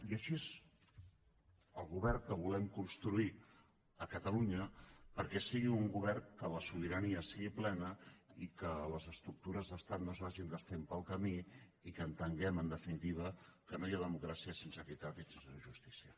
i així és el govern que volem construir a catalunya perquè sigui un govern que la sobirania sigui plena i que les estructures d’estat no es vagin desfent pel camí i que entenguem en definitiva que no hi ha democràcia sense equitat i sense justícia